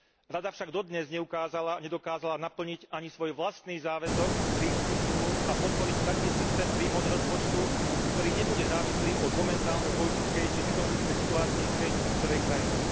Rada však dodnes nedokázala naplniť ani svoj vlastný záväzok z Rímskych zmlúv a podporiť taký systém príjmov do rozpočtu, ktorý nebude závislý od momentálnej politickej či ekonomickej situácie v tej ktorej krajine.